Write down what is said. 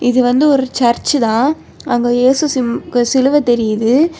இது வந்து ஒரு சர்ச் தான். அங்க இயேசு சி சிலுவை தெரியுது.